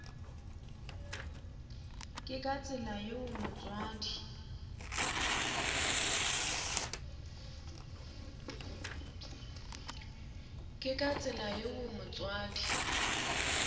ke ka tsela yeo motswadi